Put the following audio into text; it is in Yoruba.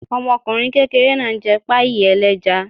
Ọmọkùnrin kékeré náà ń jẹ páàì ẹlẹ́ja